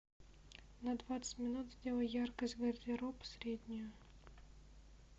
на двадцать минут сделай яркость гардероб среднюю